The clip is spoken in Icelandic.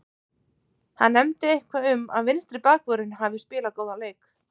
Hann nefndi eitthvað um að vinstri bakvörðurinn hafi spilað góðan leik.